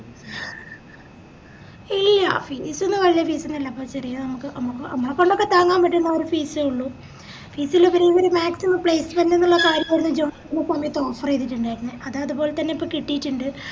ഇല്ല fees വെല്യ fees ഒന്നൂല്ലപ്പ ചെറിയെ നമക്ക് മ്മക് നമ്മളെക്കൊണ്ട് ഒക്കെ താങ്ങാൻ പറ്റുന്ന ഒര് fees എ ഉള്ളു fees എല്ല ഇവര് maximum placement ന്ന് ഇള്ള കാര്യായിരുന്നു ഇവര് job ൻറെ സമയത്ത് offer ചെയ്തിറ്റിണ്ടർന്നേ അത് അത്പോലെതന്നെ ഇപ്പൊ കിട്ടിറ്റിണ്ട്